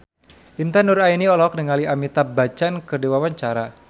Intan Nuraini olohok ningali Amitabh Bachchan keur diwawancara